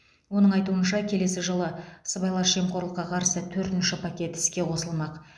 оның айтуынша келесі жылы сыбайлас жемқорлыққа қарсы төртінші пакет іске қосылмақ